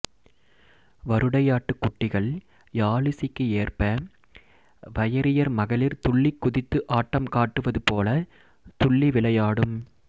வருடையாட்டுக் குட்டிகள் யாழிசைக்கு ஏற்ப வயிரியர் மகளிர் துள்ளிக் குதித்து ஆட்டம் காட்டுவது போலத் துள்ளி விளையாடும்